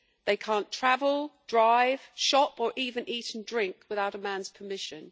they cannot travel, drive, shop or even eat and drink without a man's permission.